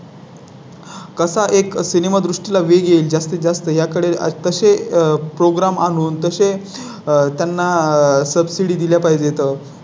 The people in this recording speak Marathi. कसा एक सिनेमा दृष्टी ला वेग येईल? जास्तीतजास्त याकडे कसे Program आणून तसें आहे त्यांना सबसिडी दिल्या पाहिजेत.